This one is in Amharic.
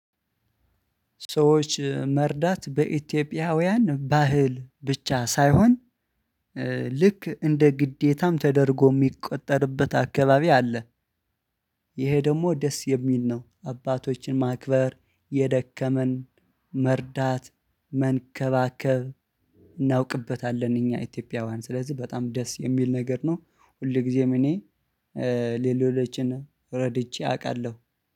ሰዎች መርዳት በኢትዮጵያውያን ባህል ብቻ ሳይሆን ልክ እንደ ግዴታም ተደርጎ የሚቆጠርበት አካባቢ አለ። ይሄ ደግሞ ደስ የሚል ነው። አባቶችን ማክበር የደከመን መርዳት መንከባከብ እናውቅበታለን እኛ ኢትዮጵያውያን ስለዚህ በጣም ደስ የሚል ነገር ነው። ሁል ጊዜም እኔ ሌሎችን ረድቼ አውቃለሁ